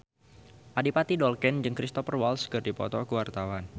Adipati Dolken jeung Cristhoper Waltz keur dipoto ku wartawan